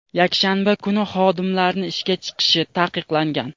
yakshanba kuni xodimlarni ishga chiqishi taqiqlangan.